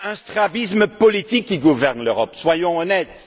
Il existe un strabisme politique qui gouverne l'Europe, soyons honnêtes.